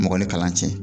Mɔgɔ ni kalan cɛ